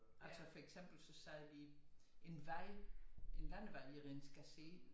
Altså for eksempel så sagde vi en vej en landevej er en skassé